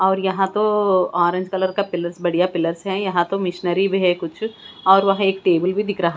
और यहाँ तो ऑरेंज कलर का पिलर्स बढ़ियां पिलर्स है यहाँ तो मिशनरी भी है कुछ और वहाँ एक टेबुल भी दिख रहा --